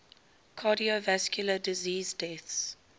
cardiovascular disease deaths